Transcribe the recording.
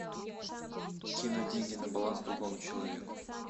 кинуть деньги на баланс другому человеку